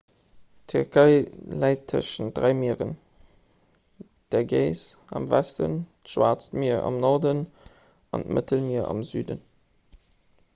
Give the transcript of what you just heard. d'tierkei läit tëschent dräi mieren d'ägäis am westen d'schwaarzt mier am norden an d'mëttelmier am süden